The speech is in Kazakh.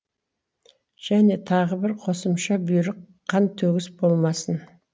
және тағы бір қосымша бұйрық қантөгіс болмасын